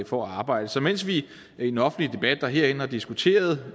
for at arbejde så mens vi i den offentlige debat herinde har diskuteret